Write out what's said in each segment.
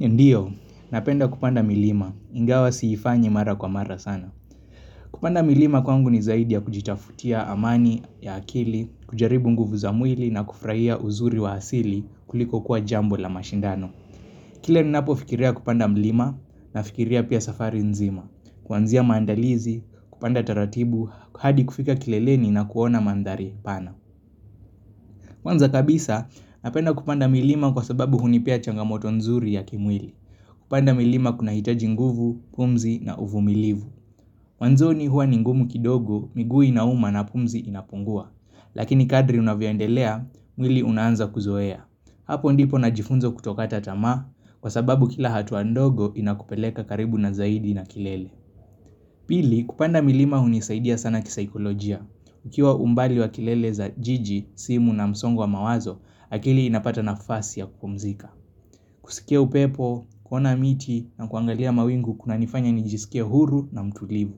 Ndiyo, napenda kupanda milima, ingawa siifanyi mara kwa mara sana. Kupanda milima kwangu ni zaidi ya kujitafutia amani ya akili, kujaribu nguvu za mwili na kufurahia uzuri wa asili kuliko kuwa jambo la mashindano. Kile ninapo fikiria kupanda milima na fikiria pia safari nzima, kuanzia mandalizi, kupanda taratibu, hadi kufika kileleni na kuona mandhari pana. Kwanza kabisa, napenda kupanda milima kwa sababu hunipea changamoto nzuri ya kimwili. Kupanda milima kuna hitaji nguvu, pumzi na uvumilivu. Wanzo ni huwa ni ngumu kidogo, miguu inauma na pumzi inapungua. Lakini kadri unavyoendelea, mwili unaanza kuzoea. Hapo ndipo na jifunza kutokata tamaa, kwa sababu kila hatua ndogo inakupeleka karibu na zaidi na kilele. Pili, kupanda milima hunisaidia sana kisikolojia. Ukiwa umbali wa kelele za jiji, simu na msongo wa mawazo, akili inapata nafasi ya kupumzika. Kuskia upepo, kuona miti na kuangalia mawingu kunanifanya nijisike huru na mtulivu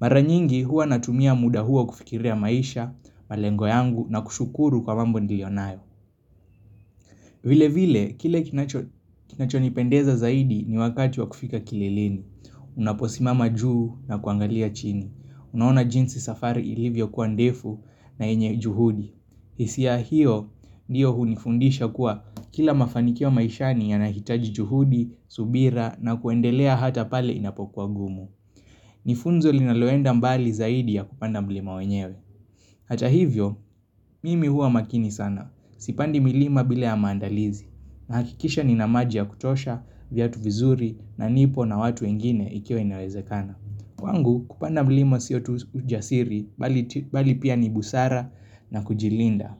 Mara nyingi huwa natumia muda hua kufikiria maisha, malengo yangu na kushukuru kwa mambo nilionayo vile vile, kile kinacho nipendeza zaidi ni wakati wa kufika kileleni Unaposimama juu na kuangalia chini Unaona jinsi safari ilivyo kuwa ndefu na yenye juhudi hisia hiyo ndiyo hunifundisha kuwa kila mafanikio maishani ya nahitaji juhudi, subira na kuendelea hata pale inapokuwa ngumu Nifunzo linaloenda mbali zaidi ya kupanda mlima wenyewe Hata hivyo, mimi huwa makini sana, sipandi milima bila ya maandalizi na hakikisha nina maji ya kutosha, viatu vizuri na nipo na watu wengine ikiwa inawezekana Kwangu kupanda mlima sio tu ujasiri bali pia ni busara na kujilinda.